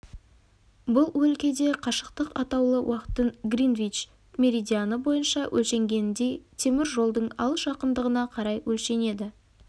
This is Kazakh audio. бұл өлкеде қашықтық атаулы уақыттың гринвич меридианы бойынша өлшенгеніндей темір жолдың алыс-жақындығына қарай өлшенеді